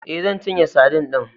E, zan cinye sadin din.